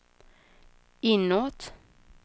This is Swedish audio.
inåt